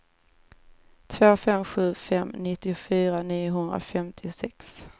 två fem sju fem nittiofyra niohundrafemtiosex